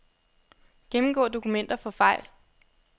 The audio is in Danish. Gennemgå dokumenter for fejl.